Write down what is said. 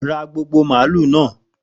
Ra gbogbo màálù náà!